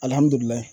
Alihamudulila